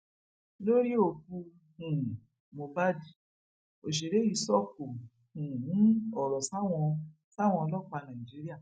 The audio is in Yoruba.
lórí òkú um moh bad òsèré yìí sọkò um ọrọ sáwọn sáwọn ọlọpàá nàìjíríà